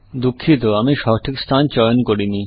দুঃখিত আমি সঠিক স্থান চয়ন করিনি